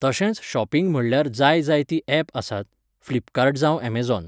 तशेंच शॉपिंग म्हणल्यार जाय जायतीं एप आसात, फिल्पकार्ट जावं ऍमजोन.